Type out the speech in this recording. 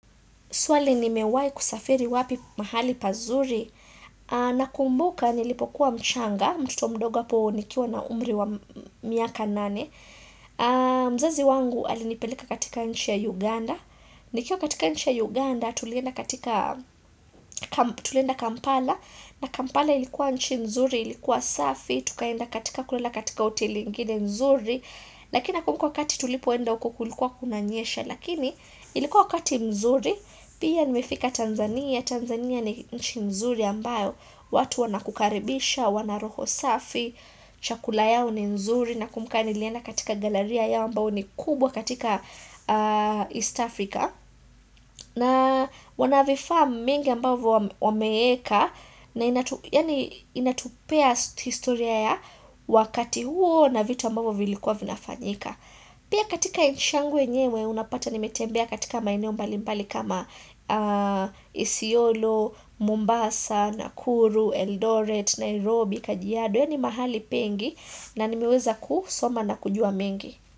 Swali nimewahi kusafiri wapi mahali pazuri. Nakumbuka nilipokuwa mchanga, mtoto mdogo hapo nikiwa na umri wa miaka nane. Mzazi wangu alinipeleka katika nchi ya Uganda. Nikiwa katika nchi ya Uganda tulienda kampala. Na kampala ilikuwa nchi mzuri, ilikuwa safi. Tukaenda katika kulala katika hoteli ingine nzuri. Lakini nakumbuka wakati tulipoenda huko kulikuwa kunanyesha. Lakini ilikuwa wakati mzuri. Pia nimefika Tanzania, Tanzania ni nchi nzuri ambayo watu wanakukaribisha, wana roho safi Chakula yao ni nzuri Nakumbuka nilienda katika galaria yao ambayo ni kubwa katika East Africa na wana vifaa mingi ambavyo wameeka na inatupea historia ya wakati huo na vitu ambayo vilikuwa vinafanyika Pia katika nchi yangu yenyewe unapata nimetembea katika maeneo mbali mbali kama Isiolo, Mombasa, Nakuru, Eldoret, Nairobi, Kajiado yaani mahali pengi na nimeweza kusoma na kujua mengi.